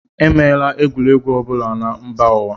E meela egwuregwu ọ bụla na mba ụwa.